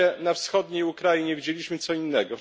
Na razie na wschodniej Ukrainie widzieliśmy co innego.